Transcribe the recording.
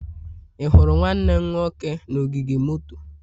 Ị hụrụ nwanne m nwoke na ogige moto?